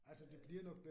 Øh